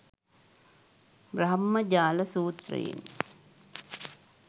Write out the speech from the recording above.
බ්‍රහ්මජාල සූත්‍රයෙන්,